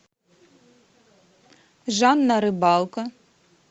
жанна рыбалко